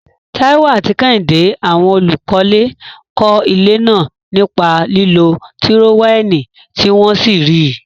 Taiwo àti Kehinde, àwọn olùkọ́lé, kọ́ ilé náà nípa lílo tírówẹ́ẹ̀lì tí wọ́n sì rí i.